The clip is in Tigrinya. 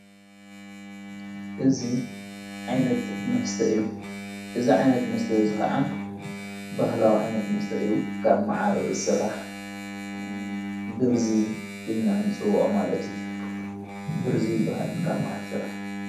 እዚ ዓይነት መስተ ዝኸዓ በዠባህላዊ ዓይነት መስተእኡ ካብ መዓር ዝሥራሕ ብርዙይ ኢልና ንፅውዖ ማለት ብርዙይ በሃል ካብ መዓር ሥራሕ እየ።